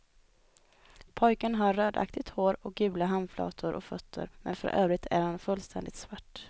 Pojken har rödaktigt hår och gula handflator och fötter men för övrigt är han fullständigt svart.